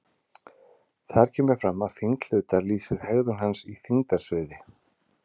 Þar kemur fram að þyngd hlutar lýsir hegðun hans í þyngdarsviði.